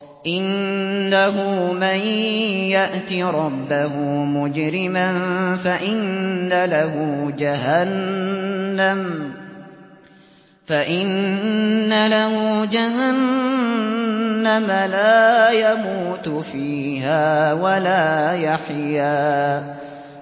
إِنَّهُ مَن يَأْتِ رَبَّهُ مُجْرِمًا فَإِنَّ لَهُ جَهَنَّمَ لَا يَمُوتُ فِيهَا وَلَا يَحْيَىٰ